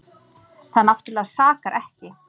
Það náttúrlega sakar ekki.